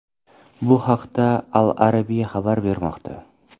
Bu haqda Al Arabia xabar bermoqda .